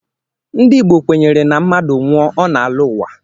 Ndị Igbo kwenyere na mmadụ nwụọ, ọ na-alọ ụwa